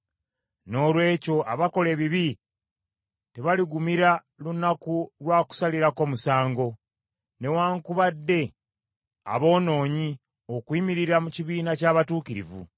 Noolwekyo abakola ebibi tebaligumira lunaku lwa kusalirako musango; newaakubadde aboonoonyi okuyimirira mu kibiina ky’abatuukirivu.